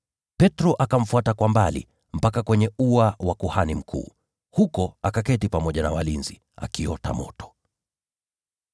Petro akamfuata kwa mbali, hadi uani kwa kuhani mkuu. Huko akaketi pamoja na walinzi, akiota moto.